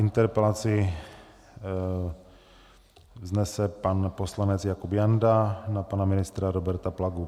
Interpelaci vznese pan poslanec Jakub Janda na pana ministra Roberta Plagu.